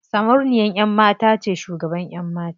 Sarauniyan ƴan mata ce shugaban ƴan mata.